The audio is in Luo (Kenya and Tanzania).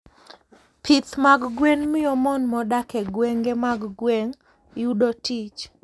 Pith mag gwen miyo mon modak e gwenge mag gweng' yudo tich.